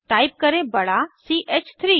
type करें बड़ा सी ह 3